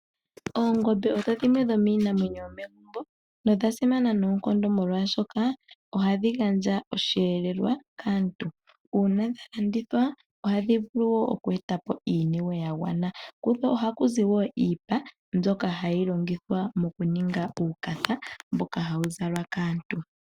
Oongombe odho dhimwe dhomiinamwenyo yomegumbo nodha simana noonkondo oshoka ohadhi gandja oshiyelelwa kaantu. Uuna dha landithwa ohadhi eta po wo iiniwe ya gwana. Kudho ohaku zi iipa mbyoka hayi longithwa moku ninga uupaya hawu zalwa kaantu.